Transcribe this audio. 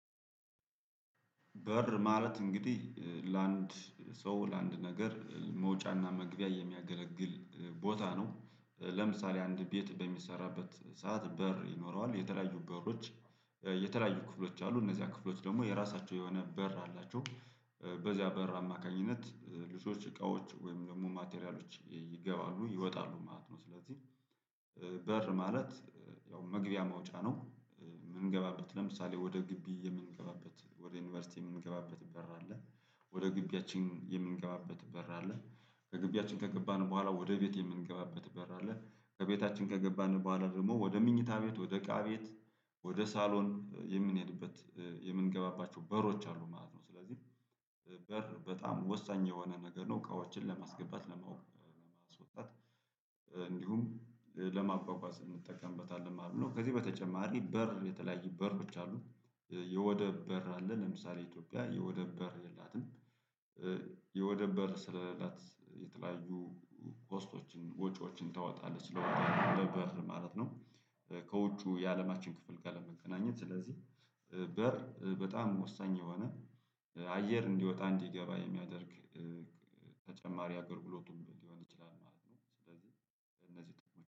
በር ማለት እንግዲህ ለአንድ ሰው ለአንድ ነገር መውጫና መግቢያ የሚያገለግል ቦታ ነው ለምሳሌ አንድ ቤት በሚሰራበት ሰዓት በር ይኖረዋል የተለያዩ በሮች የተለያዩ ክፍሎች አሉ እነዚያ ክፍሎች ደግሞ የራሳቸው የሆነ በር አላቸው በዚያ በር አማካኝነት ልጆች እቃዎች ወይም ደግሞ ማቴሪያሎች ይገባሉ ይወጣሉ ማለት ነው። ስለዚህ በር ማለት ያው መግቢያ መውጫ ነው። የምንገባበት ለምሳሌ ወደ ግቢ የምንገባበት ወደ ዩኒቨርሲቲ የምንገባበት በር አለ። ወደ ግቢያችን የምንገባበት በር አለ። ከግቢያችን ከገባን በኋላ ወደ ቤቴ የምንገባበት በር አለ ከቤታችን ከገባን በኋላ ደግሞ ወደ ምኝታ ቤት ወደ እቃ ቤት ወደ ሳሎን የምንሄድበት የምንገባባቸው በሮች አሉ ማለት ነው። ስለዚህ በር በጣም ወሳኝ የሆነ ነገር ነው። እቃዎችን ለማስገባት ደሞ ማስወጣት እንዲሁም ለማጓጓዝ እንጠቀሞበታለን መማለት ነው። ከዚህ በተጨማሪ በር የተለያየ በሮች አሉ። የወደብ በር አለ ለምሳሌ ኢትዮጵያ የወደብ በር የላትም። የወደብ በር ስለሌላት የተለያዩ ኮስቶችን ወጪዎችን ታወጣለች ለወደብ ለበር ማለት ነው። ከውጩ የአለማችን ክፍል ጋር ለመገናኘት ስለዚህ በር በጣም ወሳኝ የሆነ አየር እንዲወጣ እንዲገባ የሚያደርግ ተጨማሪ አገልግሎቱ ሊሆን ይችላል ማለት ነው። ስለዚህ እነዚህ